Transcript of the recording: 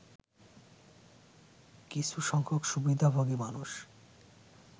কিছুসংখ্যক সুবিধাভোগী মানুষ